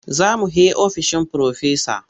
Za mu he ofishin Firofesa.